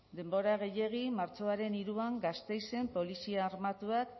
denbora gehiegi martxoaren hiruan gasteizen polizia armatuak